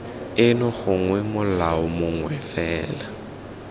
eno gongwe molao mongwe fela